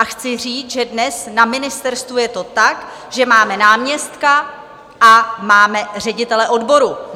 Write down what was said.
A chci říct, že dnes na ministerstvu je to tak, že máme náměstka a máme ředitele odboru.